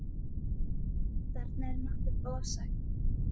Þarna er nokkuð ofsagt.